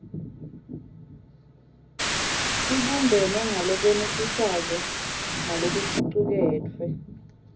ibumbene ngalokwenetisako nalokucuketfwe